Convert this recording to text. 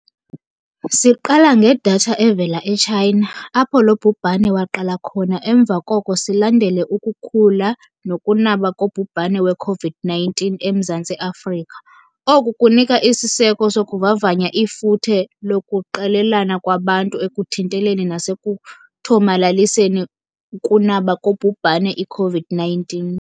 Siqala ngedatha evela e-China, apho lo bhubhane waqala khona emva koko silandele ukukhula nokunaba kobhubhane we-Covid-19 eMzantsi Afrika. Oku kunika isiseko sokuvavanya ifuthe lokuqelelana kwabantu ekuthinteleni nasekuthomalaliseni ukunaba kobhubhane i-Covid-19.